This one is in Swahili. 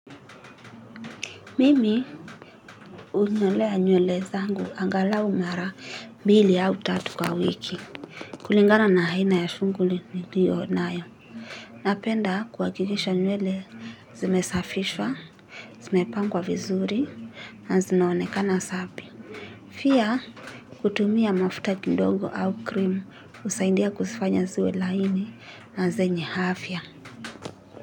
Mimi hunyolea nywele zangu angalau mara mbili au tatu kwa wiki. Kulingana na aina ya shughuli niliyo nayo napenda kuhakikisha nywele zimesafishwa zimepangwa vizuri na zinaonekana safi pia kutumia mafuta kidogo au cream husaidia kuzifanya ziwe laini na zenye afya.